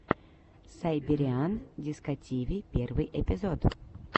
сайбериан дискотиви первый эпизод